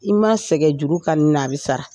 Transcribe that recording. I ma sɛgɛn juru kani na, a bi sara!